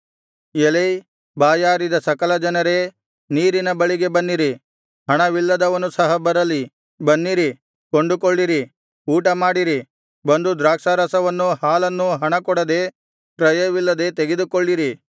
ಎಲೈ ಬಾಯಾರಿದ ಸಕಲಜನರೇ ನೀರಿನ ಬಳಿಗೆ ಬನ್ನಿರಿ ಹಣವಿಲ್ಲದವನು ಸಹ ಬರಲಿ ಬನ್ನಿರಿ ಕೊಂಡುಕೊಳ್ಳಿರಿ ಊಟ ಮಾಡಿರಿ ಬಂದು ದ್ರಾಕ್ಷಾರಸವನ್ನೂ ಹಾಲನ್ನೂ ಹಣಕೊಡದೆ ಕ್ರಯವಿಲ್ಲದೆ ತೆಗೆದುಕೊಳ್ಳಿರಿ